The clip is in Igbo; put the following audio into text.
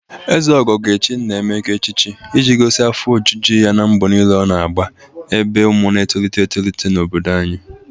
Ezeogo ga-echi Nna Emeka echichi iji gosi afọ ojuju ya n'mgbọ niile ọ na-agba n'ebe ụmụ na-etolite etolite n'obodo anyị